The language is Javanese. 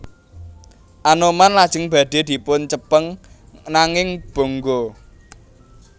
Anoman lajeng badhe dipun cepeng nanging bonggo